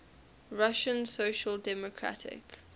russian social democratic